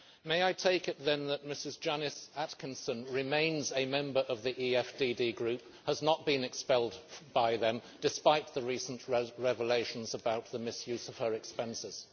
May I take it, then, that Janice Atkinson remains a member of the EFDD Group and has not been expelled by them, despite the recent revelations about the misuse of her expenses?